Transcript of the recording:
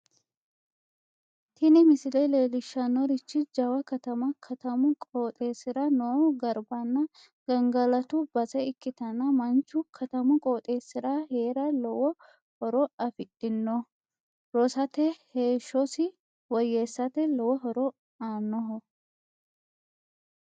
tini misile leellishshannorichi jawa katama katamu qooxeessira noo garbanna gangalatu base ikkitana manchu katamu qooxeessira heera lowo horo afidhino rosate heeshshosi woyyeessate lowo horo aannoho.